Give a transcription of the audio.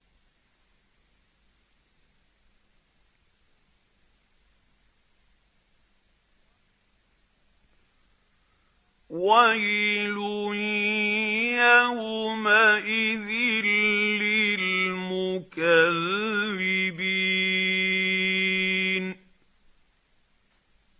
وَيْلٌ يَوْمَئِذٍ لِّلْمُكَذِّبِينَ